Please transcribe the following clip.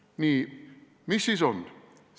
Nii, mis siis on?